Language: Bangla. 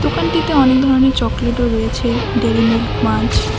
দোকানটিতে অনেক ধরনের চকলেট -ও রয়েছে ডেয়ারি মিল্ক মান্চ ।